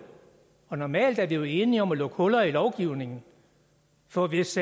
normalt er vi jo enige om at lukke huller i lovgivningen for hvis